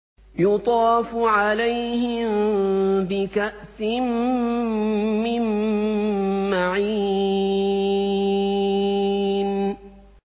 يُطَافُ عَلَيْهِم بِكَأْسٍ مِّن مَّعِينٍ